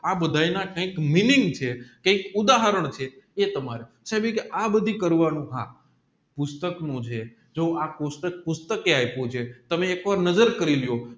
આ બધાય ના કંઈક મીનિંગ છે એક ઉધારણ છે એતમારે સાહેબ કે આ બધિક કરવાનું હા પુષ્ટક નું જે પુષ્ટક પુષ્ટક એ આયપુ જે તમે એકવાર નજર કરી લીઓ